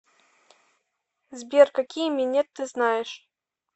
сбер какие минет ты знаешь